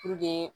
Puruke